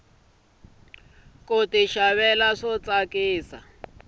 kuxava swa tsakisa